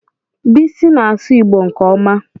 Bisi na-asụ Igbo nke ọma.